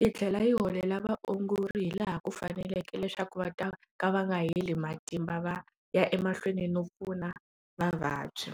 yi tlhela yi holela vaongori hi laha ku faneleke leswaku va ta ka va nga heli matimba va ya emahlweni no pfuna vavabyi.